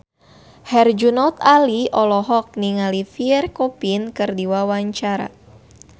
Herjunot Ali olohok ningali Pierre Coffin keur diwawancara